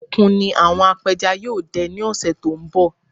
Òkun ni àwọn apẹja yóò dẹ ní òṣé tó ń bọ̀